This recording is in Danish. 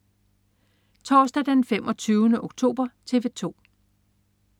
Torsdag den 25. oktober - TV 2: